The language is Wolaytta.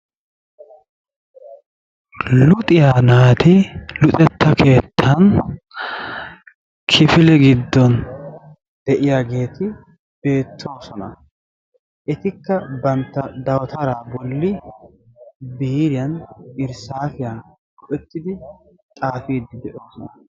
Luxiya naati luxetta keettan kifile giddon de'iyageeti beettoosona. Etikka bantta dawutaraa bolli biiriyan, irssaasiyan go'ettidi xaafiiddi de'oosona.